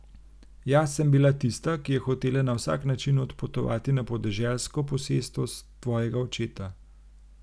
Jaz sem bila tista, ki je hotela na vsak način odpotovati na podeželsko posestvo tvojega očeta.